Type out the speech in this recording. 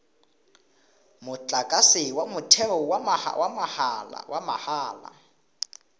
motlakase wa motheo wa mahala